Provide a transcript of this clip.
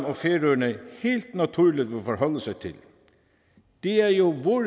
og færøerne helt naturligt vil forholde sig til det er jo